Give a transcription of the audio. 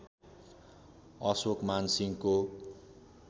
अशोकमान सिंहको